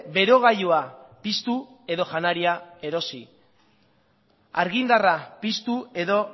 berogailua piztu edo janaria erosi argindarra piztu edo